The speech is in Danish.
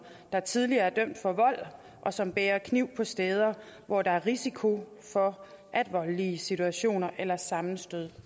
der tidligere er dømt for vold og som bærer kniv på steder hvor der er risiko for at voldelige situationer eller sammenstød